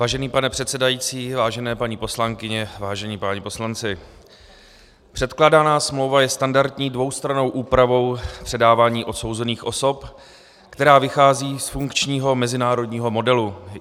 Vážený pane předsedající, vážené paní poslankyně, vážení páni poslanci, předkládaná smlouva je standardní dvoustrannou úpravou předávání odsouzených osob, která vychází z funkčního mezinárodního modelu.